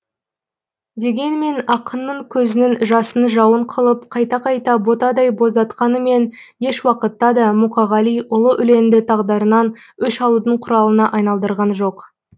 дегенмен ақынның көзінің жасын жауын қылып қайта қайта ботадай боздатқанымен еш уақытта да мұқағали ұлы өлеңді тағдырынан өш алудың құралына айналдырған жоқ